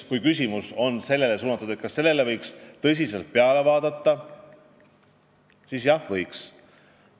Kui küsimus on suunatud sellele, kas sellele võiks tõsiselt peale vaadata, siis vastan, et jah, võiks.